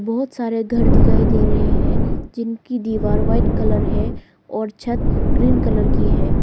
बहुत सारे घर दिखाई दे रहे हैं जिनकी दीवार व्हाइट कलर है और छत ग्रीन कलर की है।